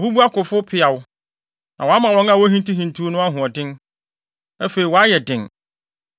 “Wɔabubu akofo mpeaw, na wɔama wɔn a wohintihintiw no ahoɔden. Afei, wɔayɛ den.